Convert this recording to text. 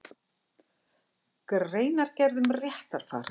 Greinargerð um réttarfar.